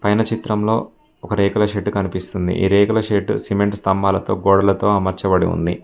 పైన చిత్రంలో ఒక రేకుల షెడ్డు కనిపిస్తుంది ఈ రేకుల షెడ్డు సిమెంట్ స్తంభాలతో గోడలతో అమర్చబడి ఉంది.